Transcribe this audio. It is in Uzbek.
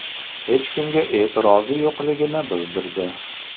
hech kimga e’tirozi yo‘qligini bildirdi.